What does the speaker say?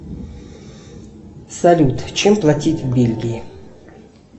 салют чем платить в бельгии